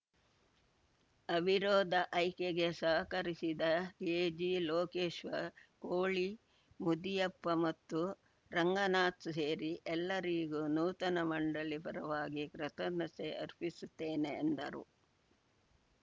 ಅವಿರೋಧ ಆಯ್ಕೆಗೆ ಸಹಕರಿಸಿದ ಕೆಜಿ ಲೋಕೇಶ್ವರ್‌ ಕೋಳಿ ಮುದಿಯಪ್ಪ ಮತ್ತು ರಂಗನಾಥ್‌ ಸೇರಿ ಎಲ್ಲರಿಗೂ ನೂತನ ಮಂಡಳಿ ಪರವಾಗಿ ಕೃತಜ್ಞತೆ ಅರ್ಪಿಸುತ್ತೇನೆ ಎಂದರು